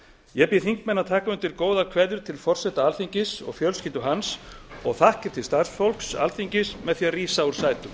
ég bið þingmenn að taka undir góðar kveðjur til forseta alþingis og fjölskyldu hans og þakkir til starfsfólks alþingis með því að rísa úr sætum